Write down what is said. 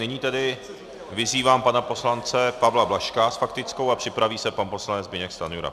Nyní tedy vyzývám pana poslance Pavla Blažka s faktickou a připraví se pan poslanec Zbyněk Stanjura.